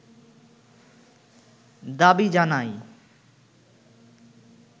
দাবি জানায়